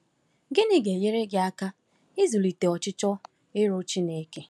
Gịnị ga-enyere gị aka ịzụlite ọchịchọ ịrụ Chineke?